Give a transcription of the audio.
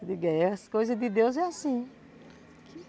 Eu digo, é, as coisas de Deus, é assim.